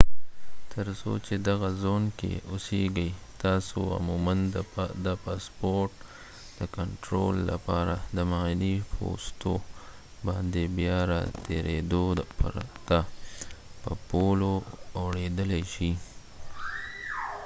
تر څو چې دغه زون کې اوسېږئ تاسو عموما د پاسپورټ د کنټرول لپاره د معاینې پوستو باندې بیا راتېرېدو پرته په پولو اوړېدلای شئ